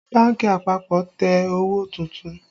Bánkì àpapọ̀ tẹ owó tuntun